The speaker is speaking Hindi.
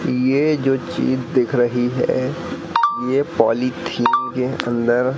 ये जो चीज दिख रही है ये पॉलिथीन के अंदर--